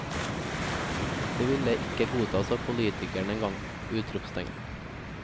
Det ville ikke godtas av politikere en gang! utropstegn